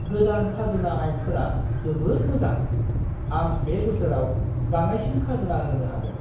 गोदान खाजोना आयेनफोरा जोबोद मोजां! आं बे बोसोराव बाङाइसिन खाजोना होनो हागोन।